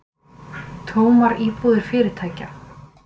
Tómar íbúðir fyrirtækja